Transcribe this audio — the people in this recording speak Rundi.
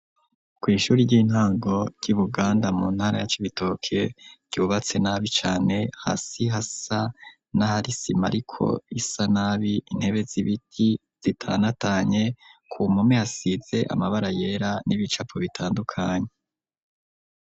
Ku ishure ry'intango ry'iBuganda mu ntara ya Kibitoke ryubatse nabi cane hasi hasa nahari isima ariko isa nabi intebe z'ibiti zitanatanye ku mpome hasize amabara yera n'ibicapu bitandukanye.